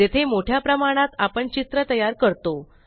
जेथे मोठ्या प्रमाणात आपण चित्र तयार करतो